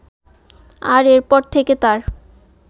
আর এরপর থেকে তাঁর